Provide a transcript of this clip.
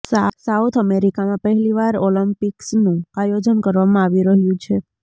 south અમેરિકામાં પહેલી વાર ઓલિમ્પિક્સનું આયોજન કરવામાં આવી રહ્યું છે